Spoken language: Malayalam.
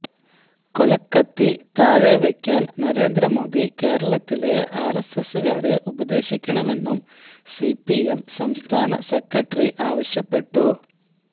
കൊലക്കത്തി താഴെ വയ്ക്കാന് നരേന്ദ്രമോദി കേരളത്തിലെ ആര്എസ്എസുകാരെ ഉപദേശിക്കണമെന്നും സിപിഎം സംസ്ഥാന സെക്രട്ടറി ആവശ്യപ്പെട്ടു